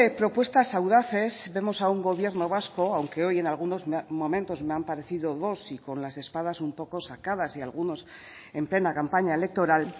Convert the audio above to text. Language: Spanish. propuestas audaces vemos a un gobierno vasco aunque hoy en algunos momentos me han parecido dos y con las espadas un poco sacadas y algunos en plena campaña electoral